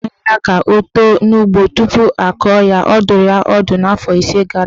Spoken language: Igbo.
Hapụ ahịhịa ka o too n'ugbo tupu akọ ya ihe" Ọ dụrụ ya ọdụ afọ ise gara aga.